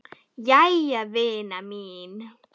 Jæja vina mín.